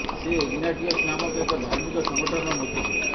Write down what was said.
ସେ ଇଗ୍ନାଟିୟସ ନାମକ ଏକ ଧାର୍ମିକ ସଙ୍ଗଠନର ମୁଖ୍ୟ ଥିଲେ